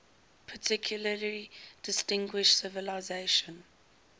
particularly distinguished civilization